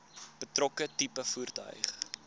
betrokke tipe voertuig